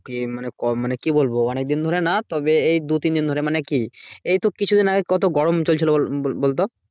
ইয়ে মানে কম মানে কি বলবো? অনেকদিন ধরে না তবে এই দু তিন ধরে মানে কি? এই তো কিছু দিন আগে কত গরম চলছিল বল বল~ বলতো?